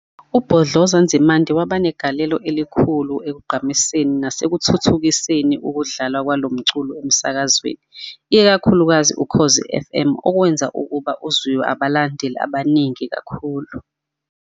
UBhodloza Nzimande waba negaleleo elikhulu ekugqamiseni nasekuthuthukiseni ukudlalwa kwalomculo emsakazweni ikakhulukazi uKhozi FM, okwenza ukuba uzwiwe abalandeli abaningi kakhulu